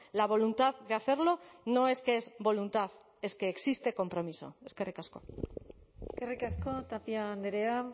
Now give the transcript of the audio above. la voluntad de hacerlo no es que es voluntad es que existe compromiso eskerrik asko eskerrik asko tapia andrea